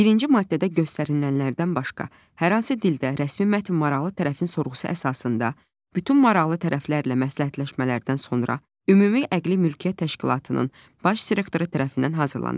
Birinci maddədə göstərilənlərdən başqa hər hansı dildə rəsmi mətn maraqlı tərəfin sorğusu əsasında bütün maraqlı tərəflərlə məsləhətləşmələrdən sonra Ümumdünya Əqli Mülkiyyət Təşkilatının Baş Direktoru tərəfindən hazırlanır.